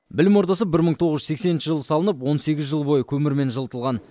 білім ордасы бір мың тоғыз жүз сексенінші жылы салынып он сегіз жыл бойы көмірмен жылытылған